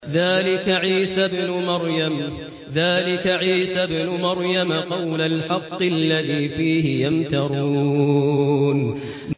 ذَٰلِكَ عِيسَى ابْنُ مَرْيَمَ ۚ قَوْلَ الْحَقِّ الَّذِي فِيهِ يَمْتَرُونَ